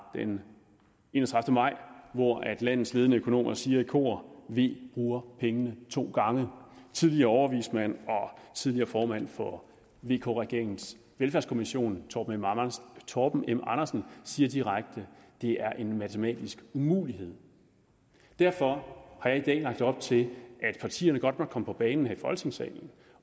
den enogtredivete maj hvor landets ledende økonomer siger i kor v bruger pengene to gange tidligere overvismand og tidligere formand for vk regeringens velfærdskommission torben torben m andersen siger direkte det er en matematisk umulighed derfor har jeg i dag lagt op til at partierne godt må komme på banen her i folketingssalen